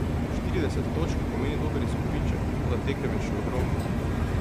Štirideset točk pomeni dober izkupiček, toda tekem je še ogromno.